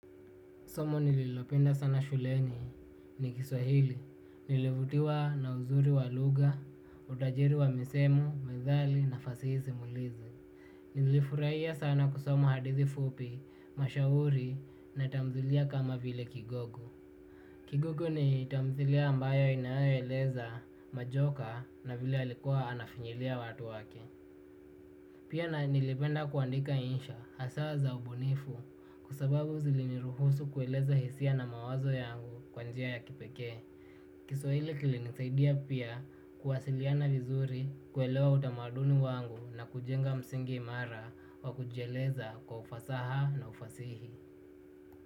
Somo nililopenda sana shuleni ni kiswahili, nilivutiwa na uzuri wa lugha, utajiri wa misemo, methali na fasihi simulizi. Nilifurahia sana kusoma hadithi fupi, mashairi na tamthilia kama vile kigogo. Kigogo ni tamthilia ambayo inayoeleza majoka na vile alikuwa anafinyilia watu wake. Pia na nilipenda kuandika insha hasaa za ubunifu kwa sababu ziliniruhusu kueleza hisia na mawazo yangu kwa njia ya kipekee. Kiswahili kilinisaidia pia kuwasiliana vizuri, kuelewa utamaduni wangu na kujenga msingi imara wa kujieleza kwa ufasaha na ufasihi.